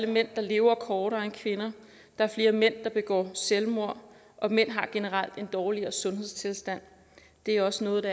mænd lever kortere tid end kvinder der er flere mænd der begår selvmord og mænd har generelt en dårligere sundhedstilstand det er også noget